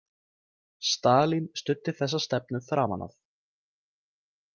Stalín studdi þessa stefnu framan af.